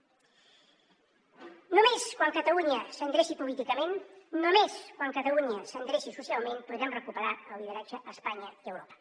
només quan catalunya s’endreci políticament només quan catalunya s’endreci socialment podrem recuperar el lideratge a espanya i a europa